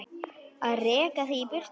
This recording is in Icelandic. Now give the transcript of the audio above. Að reka þig í burtu!